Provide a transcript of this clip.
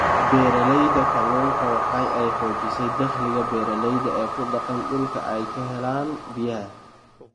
Beeralayda kalluunku waxa ay xoojisay dakhliga beeralayda ee ku dhaqan dhulka ay ka helaan biyaha.